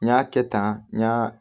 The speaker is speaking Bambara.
N y'a kɛ tan n ɲa